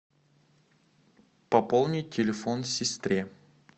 пополнить телефон сестре